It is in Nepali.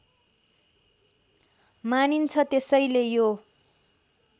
मानिन्छ त्यसैले यो